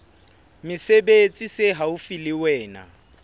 mesebetsi se haufi le wena